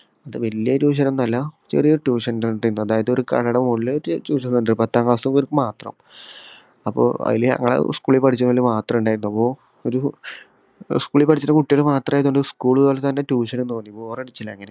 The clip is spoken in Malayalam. അത് വല്യ ഒരു tuition ഒന്നുവല്ല ചെറിയ ഒരു tuition center ർന്നു അതായത് ഒരു കടയുടെ മോളില് ഒരു tuition center പത്താം class ലുള്ളവർക്ക് മാത്രം അപ്പൊ ആയിൽ ഞങ്ങളെ school ൽ പഠിച്ചവര് മാത്രേ ഇണ്ടായിള്ളൂ അപ്പൊ ഒരു school പഠിച്ചിട്ട കുട്ടികള് മാത്രമായതോണ്ട് school പോല തന്നെ tuition ഉം തോന്നി bore അടിച്ചില്ല അങ്